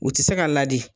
U tɛ se ka ladi